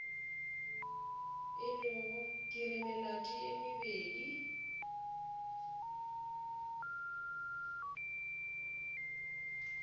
ke re melato ye mebedi